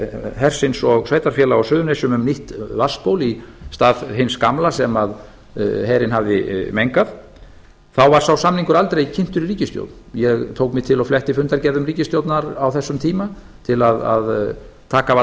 hersins og sveitarfélaga á suðurnesjum um nýtt vatnsból í stað hins gamla sem herinn hafði mengað þá var sá samningur aldrei kynntur í ríkisstjórn ég tók mig til og fletti fundargerðum ríkisstjórnar á þessum tíma til að taka af allan vafa